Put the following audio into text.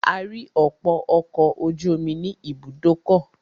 A rí ọ̀pọ̀ ọkọ̀ ojú omi ní ibùdókọ̀.